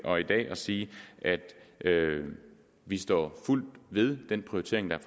i dag at sige at vi står fuldt ved den prioritering der